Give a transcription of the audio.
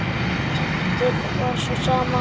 Dýptin var sú sama.